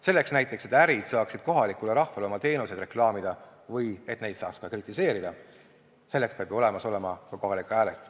Näiteks selleks, et ärid saaksid kohalikule rahvale oma teenuseid reklaamida või et neid saaks ka kritiseerida, peab olemas olema kohalik ajaleht.